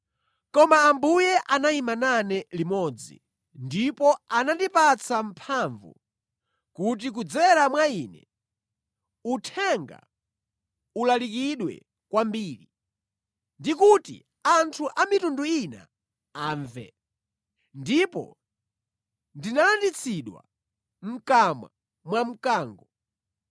Koma Ambuye anayima nane limodzi, ndipo anandipatsa mphamvu, kuti kudzera mwa ine, uthenga ulalikidwe kwambiri, ndikuti anthu a mitundu ina amve. Ndipo ndinalanditsidwa mʼkamwa mwa mkango.